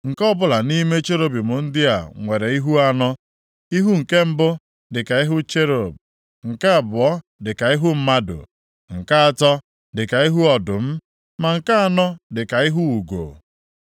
Nke ọbụla nʼime cherubim ndị a nwere ihu anọ. Ihu nke mbụ dịka ihu cherub. Nke abụọ dịka ihu mmadụ; nke atọ dịka ihu ọdụm, ma nke anọ dịka ihu ugo.